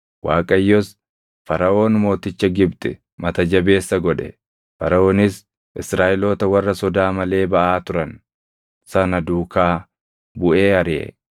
Waaqayyos Faraʼoon mooticha Gibxi mata jabeessa godhe; Faraʼoonis Israaʼeloota warra sodaa malee baʼaa turan sana duukaa buʼee ariʼe.